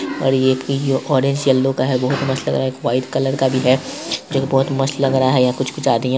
और यह एक ऑरेंज येलो का है बहुत मस्त लग रहा है एक वाइट कलर का भी है जो की बहुत मस्त लग रहा है यहाँ कुछ कुछ आदमिया --